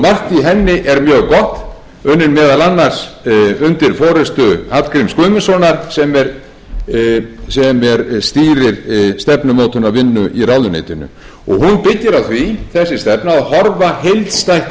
henni er mjög gott unnin meðal annars undir forustu hallgríms guðmundssonar sem stýrir stefnumótunarvinnu í ráðuneytinu hún byggir á því þessi stefna að horfa heildstætt á